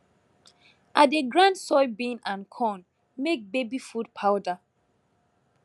i dey grind soybean and corn make baby food powder